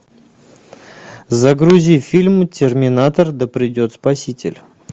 загрузи фильм терминатор да придет спаситель